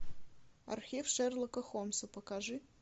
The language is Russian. архив шерлока холмса покажи